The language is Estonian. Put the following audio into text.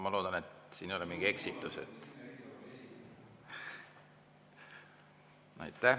Ma loodan, et siin ei ole mingit eksitust.